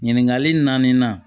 Ɲininkali naani na